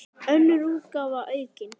Önnur útgáfa aukin.